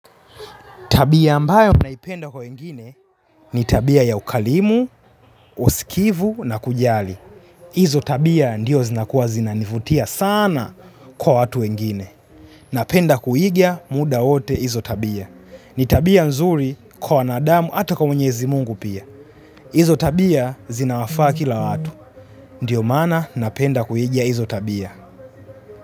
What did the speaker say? Tabia ambayo naipenda kwa wengine. Ni tabia ya ukarimu, usikivu na kujali. Izo tabia ndiyo zinakuwa zinanivutia sana kwa watu wengine. Napenda kuiga muda wote izo tabia. Ni tabia nzuri kwa wanadamu ata kwa mwenyezi Mungu pia. Izo tabia zina wafaa kila watu. Ndiyo mana napenda kuhigia izotabia.